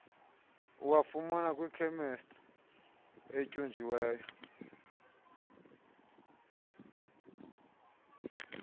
uwafumana kwikhemesti etyunjiweyo